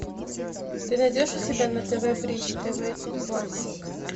ты найдешь у себя на тв бридж тв классик